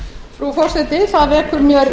frú forseti það vekur mér